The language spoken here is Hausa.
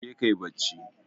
Jeka ka yi bacci.